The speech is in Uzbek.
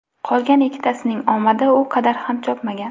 Qolgan ikkitasining omadi u qadar ham chopmagan.